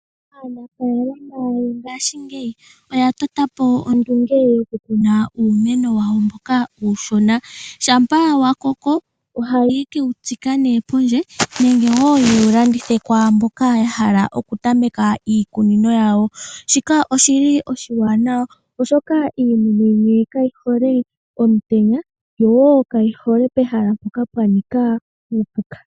Aanafaalma mongashingeyi oya totapo ondunge yokukuna uumeno wawo mboka uushona. Shampa owala wa koko ohaye kewu tsika pondje nenge yewu landithe kwaamboka yahala okutameka iikunino yawo. Shika oshili oshiwanawa, oshoka iimeno yimwe kayihole omutenya nenge pehala mpoka puna uupuka.